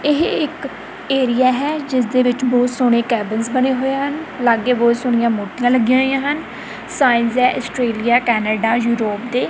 ਏਹ ਇੱਕ ਏਰੀਆ ਹੈ ਜਿਸਦੇ ਵਿੱਚ ਬੋਹੁਤ ਸੋਹਣੇ ਕੈਬਿਨਸ ਬਣੇ ਹੋਏ ਹਨ ਲੱਗੇ ਬੋਹੁਤ ਸੋਹਣੀਆਂ ਮੂਰਤੀਆਂ ਲੱਗੀਆਂ ਹੋਈਆਂ ਹਨ ਸਾਈਨਸ ਹੈਂ ਆਸਟ੍ਰੇਲੀਆ ਕੈਨੇਡਾ ਯੂਰੋਪ੍ ਦੇ।